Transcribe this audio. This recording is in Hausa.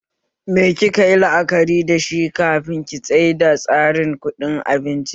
Me ki kayi la'akari dashi kafin ki tsaida tsarin kuɗin abincin?